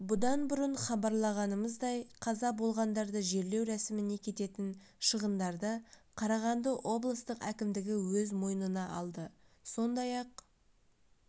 бұдан бұрын хабарлағанымыздай қаза болғандарды жерлеу рәсіміне кететін шығындарды қарағанды облыстық әкімдігі өз мойнына алды сондай-ақ